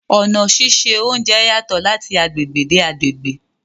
Ọna síṣẹ ọ̀unjẹ yatọ̀ lati agbegbe de agbegbe